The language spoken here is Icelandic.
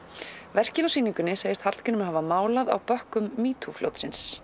verkin á sýningunni segist Hallgrímur hafa málað á bökkum metoo fljótsins